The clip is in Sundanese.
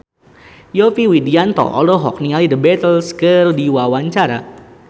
Yovie Widianto olohok ningali The Beatles keur diwawancara